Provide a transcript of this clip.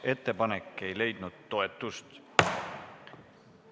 Ettepanek ei leidnud toetust.